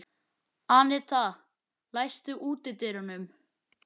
Annetta, læstu útidyrunum.